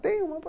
Tem uma